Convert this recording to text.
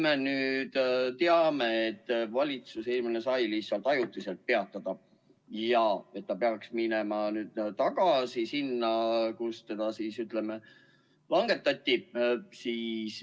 Me teame, et eelmine valitsus sai ajutiselt selle aktsiisi kehtestada ja nüüd see peaks minema tagasi tasemele, kust seda langetati.